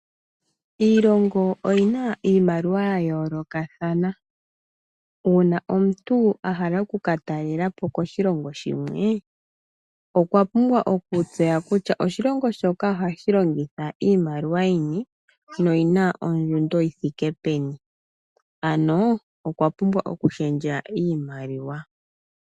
Iilongo oyina iiimaliwa yayoolokathana. Uuna omuntu ahala okukatalelapo koshilongo shimwe , okwa pumbwa okutseya kutya oshilongo shoka ohashi longitha iimaliwa yini noyina ondjundo yithike peni, ano okwapumbwa okushendja iimaliwa.